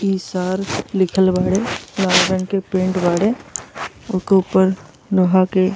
इसर लिखल बाड़े। लाल रंग के पेंट बाड़े। ओके ऊपर लोहा के --